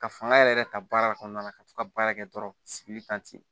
Ka fanga yɛrɛ yɛrɛ ta baara kɔnɔna na ka to ka baara kɛ dɔrɔn sigili kan ten